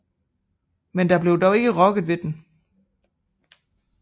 Men der blev dog ikke rokket ved den